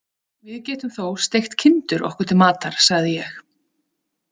Við getum þó steikt kindur okkur til matar, sagði ég.